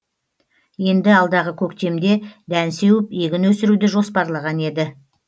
енді алдағы көктемде дән сеуіп егін өсіруді жоспарлаған еді